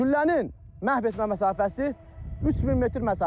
Güllənin məhv etmə məsafəsi 3000 metr məsafədir.